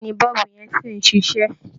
Bẹ́ẹ̀ ni, bọ́ọ̀bù yẹn sì ń ṣiṣẹ́